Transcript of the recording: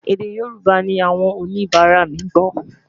èdè yorùbà ní àwọn oníbara mí gbó